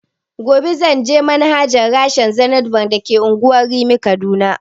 Gobe zanje ganin manajan rashen zenith bank da ke unguwar rimi a kaduna